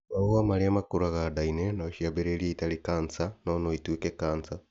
Mahuha marĩa makũraga nda-inĩ nociambĩrĩrie itarĩ kanca, no noituĩke kanja